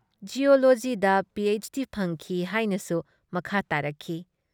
ꯖꯤꯌꯣꯂꯣꯖꯤꯗ P H D ꯐꯪꯈꯤ ꯍꯥꯏꯅꯁꯨ ꯃꯈꯥ ꯇꯥꯔꯛꯈꯤ ꯫